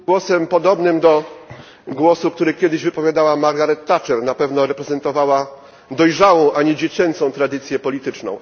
głosem podobnym do głosu, który kiedyś wypowiadała Margaret Thatcher na pewno reprezentowała dojrzałą, a nie dziecięcą tradycję polityczną.